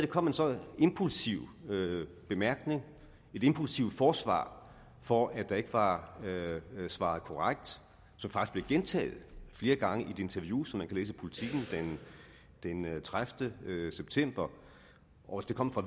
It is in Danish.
kom en så impulsiv bemærkning et impulsivt forsvar for at der ikke var svaret korrekt som faktisk blev gentaget flere gange i det interview som man kan læse i politiken den tredivete september og at det kom fra